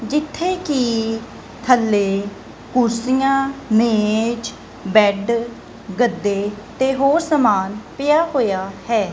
ਜਿੱਥੇ ਕੀ ਥੱਲੇ ਕੁਰਸੀਆਂ ਮੇਂਜ ਬੈਡ ਗੱਦੇ ਤੇ ਹੋਰ ਸਾਮਾਨ ਪਿਆ ਹੋਇਆ ਹੈ।